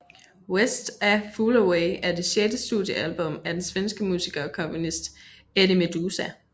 West A Fool Away er det sjette studiealbum af den svenske musiker og komponist Eddie Meduza